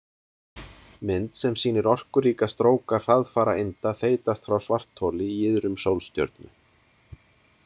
Mynd sem sýnir orkuríka stróka hraðfara einda þeytast frá svartholi í iðrum sólstjörnu.